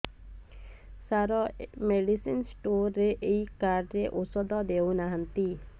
ସାର medicine store ରେ ଏଇ card ରେ ଔଷଧ ଦଉନାହାନ୍ତି